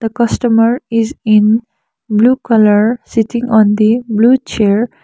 customer is in blue colour sitting on the blue chair.